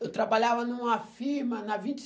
Eu trabalhava numa firma na vinte